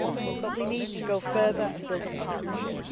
But we need to go further and build a partnership.